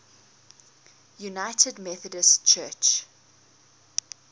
united methodist church